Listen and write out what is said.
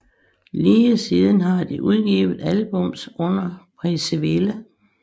Lige siden har de udgivet albums under Peaceville